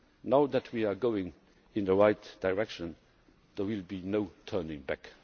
persevere. Now that we are going in the right direction there will be no